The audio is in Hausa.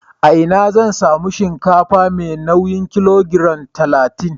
A ina zan sami shinkafa mai nauyin kilogiram talatin?